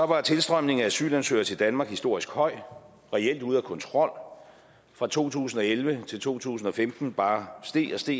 var tilstrømningen af asylansøgere til danmark historisk høj reelt ude af kontrol fra to tusind og elleve til to tusind og femten bare steg og steg